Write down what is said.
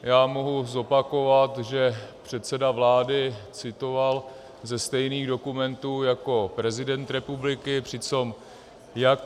Já mohu zopakovat, že předseda vlády citoval ze stejných dokumentů jako prezident republiky, přitom jak...